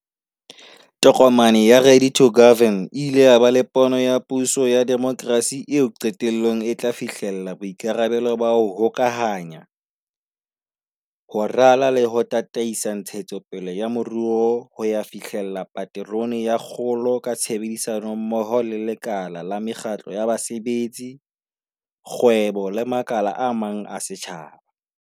Tokomane ya 'Ready to Govern' e ile ya ba le pono ya puso ya demokrasi eo qetellong e tla fihlella boikarabelo ba 'ho hokahanya, ho rala le ho tataisa ntshetsopele ya moruo ho ya fihlella paterone ya kgolo ka tshebedisano mmoho le lekala la mekgatlo ya basebetsi, kgwebo le makala a mang a setjhaba.